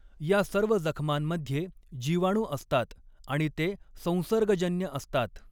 या सर्व जखमांमध्ये जीवाणू असतात आणि ते संसर्गजन्य असतात.